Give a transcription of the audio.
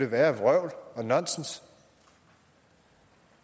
værre vrøvl og nonsens